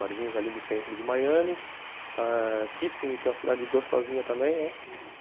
Barzinhos ali do centro de Miami ãh Kissimmee, que é uma cidade gostosinha também, né? uhum